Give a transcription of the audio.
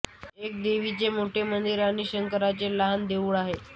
एक देवीचे मोठे मंदिर आणि शंकराचे लहान देऊळ आहे